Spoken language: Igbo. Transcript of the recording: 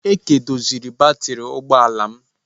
Eke doziri batrị ụgbọ ala m